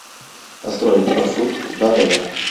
построй маршрут до отеля